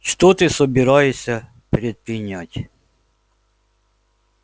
что ты собираешься предпринять